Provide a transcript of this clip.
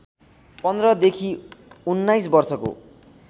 १५ देखि १९ वर्षको